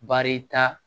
Baarita